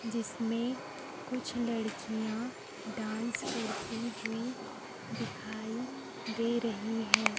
जिसमें कुछ लड़कियां डांस करती हुई दिखाई दे रही है।